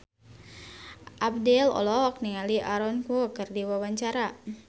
Abdel olohok ningali Aaron Kwok keur diwawancara